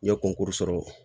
N ye kɔnkuru sɔrɔ